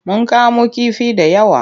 Mun kamo kifi da yawa.